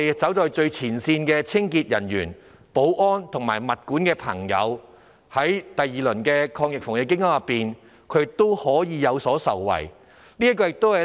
此外，最前線的清潔、保安及物管人員也能在第二輪防疫抗疫基金下受惠。